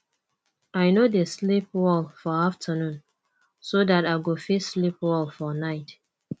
i no dey like sleep well for afternoon so dat i go fit sleep well for night